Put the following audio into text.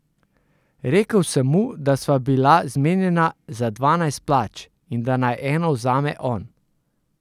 Rekel sem mu, da sva bila zmenjena za dvanajst plač in da naj eno vzame on.